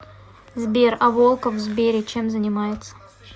сбер а волков в сбере чем занимается